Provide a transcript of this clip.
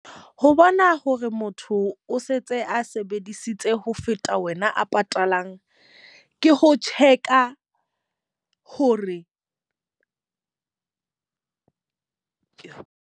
Ho bona hore motho o setse a sebedisitse ho feta wena a patalang. Ke ho check-a hore .